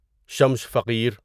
شمش فقیر